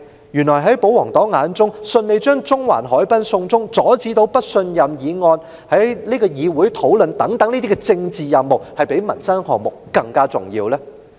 抑或在保皇黨眼中，順利把中環海濱"送中"及阻止不信任議案在議會上討論等政治任務，是較民生項目更為重要的呢？